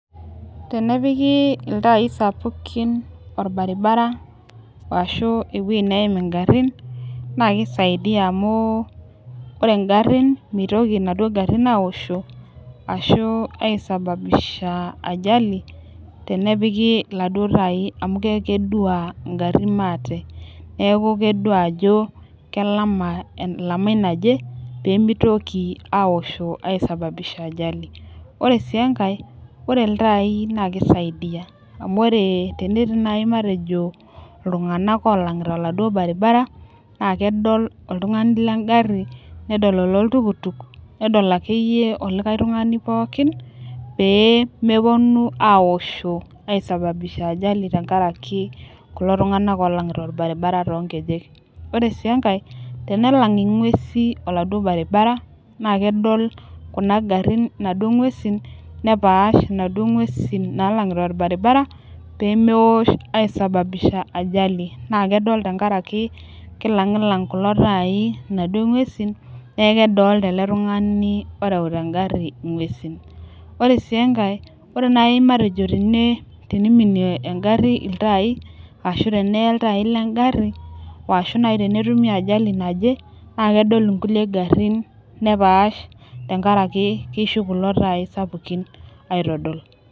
Tenepiki iltaai sapukin olbaribara, ashu ewueji neim igarin. nss kisidai amu ore garin. mitoki inaduoo garin aisho. ashu ai sababisha ajali tenepiki iladuoo tai. amu keeku kedua garin maate. neekh kedua ajo elamai naje, pee mitoki aaosho.ai sababisha ajali ore sii enkae ore iltaai Nas kisidai. amu ore tenetii naaji matejo iltunganak oolang'ita oladuoo baribara. naa kedol oltungani le gari. nedol ololtukutuk. nedol akayeii olikae tungani pookin. pee mepuonu aashom ai sababisha ajali tenkaraki kulo tunganak oolang'ita orbaribara too nkeek. ore sii enkae tenalang ing'uesi oladuoo baribabara, naa kedol Kuna garin inaduoo nguesin. nepaash inaduoo nguesin, naalang'ita olbaribara pee meosh ai sababisha ajali naa kedol tenkaraki kilangita kulo taai. inaduoo nguesin neku kedolita ele tungani oreuta egari nguesin ore siie enkae ore naai natejo teneiminie egari iltaai ashu teneye iltaai legari ashu naaji teneitumia ajali naje naa kedol nkulie garin nepaash.